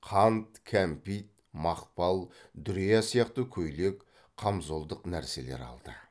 қант кәмпит мақпал дүрия сияқты көйлек қамзолдық нәрселер алды